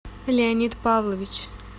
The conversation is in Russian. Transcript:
леонид павлович